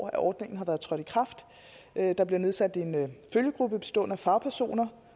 at ordningen er trådt i kraft der bliver nedsat en følgegruppe bestående af fagpersoner